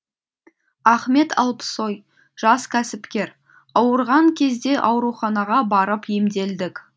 ахмет алпсой жас кәсіпкер ауырған кезде ауруханаға барып емделдік